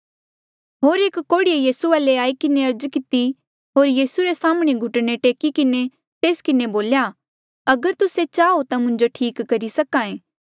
होर एक कोढ़ीये यीसू वाले आई किन्हें अर्ज किती होर यीसू रे साम्हणें घुटने टेकी किन्हें तेस किन्हें बोल्या अगर तुस्से चाहो ता मुंजो ठीक करी सक्हा ऐें